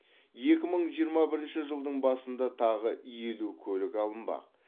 екі мың жиырма бірінші жылдың басында тағы елу көлік алынбақ